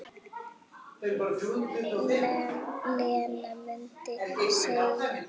Lena mundi segja.